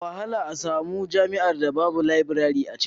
Da wahala a samu jami'ar da babu labirare a cikinta